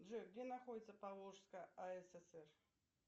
джой где находится поволжская асср